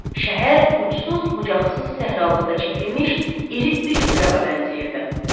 Şəhər uçsuz-bucaqsız səhralıqda çəkilmiş iri üçbucağa bənzəyirdi.